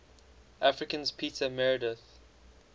africans peter meredith